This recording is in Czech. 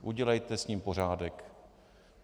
Udělejte s ním pořádek.